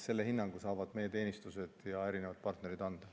Selle hinnangu saavad anda meie teenistused ja erinevad partnerid.